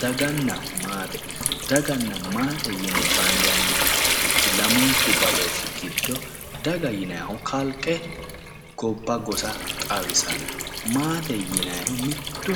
Daganna maate daganna maate yine bandannirichi lamunku badooshshi giddo daga yinayiihu kalqe gobba gosa xawisanno maate yinayhu mittu